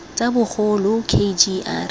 tsa bagolo k g r